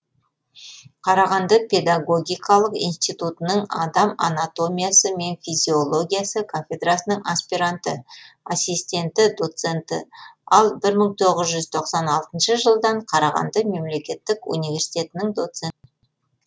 қарағанды педагогикалық институтының адам анатомиясы мен физиологиясы кафедрасының аспиранты ассистенті доценті ал бір мың тоғыз жүз тоқсан алтыншы жылдан қарағанды мемлекеттік университетінің доцент